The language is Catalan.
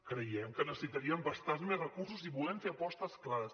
creiem que necessitaríem bastants més recursos i volem fer apostes clares